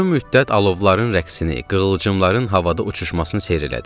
Uzun müddət alovların rəqsini, qığılcımların havada uçuşmasını seyr elədim.